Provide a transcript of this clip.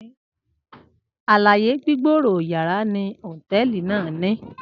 aláyè gbígbòòrò yara ni hoteeli nàá ni